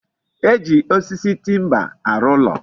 E ji osisi timba arụ ụlo